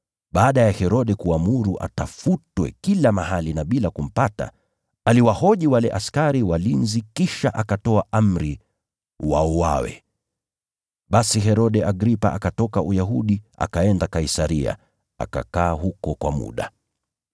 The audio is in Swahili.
Baada ya Herode kuamuru atafutwe kila mahali na bila kumpata, aliwahoji wale askari walinzi kisha akatoa amri wauawe. Basi Herode Agripa akatoka Uyahudi akaenda Kaisaria, akakaa huko kwa muda.